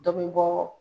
Dɔ bɛ bɔ